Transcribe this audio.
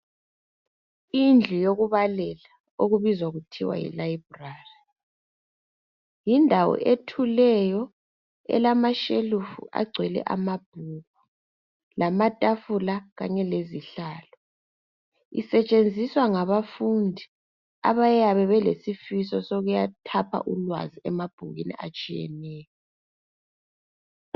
Indlu yokubalela okubizwa kuthiwa yilayibrari, yindawo ethuleyo elamashelufu agcwele amabhuku, lamatafula kanye lezihlalo. Isetshenziswa ngabafundi abayabe belesifiso sokuyathapha ulwazi emabhukwini atshiyeneyo.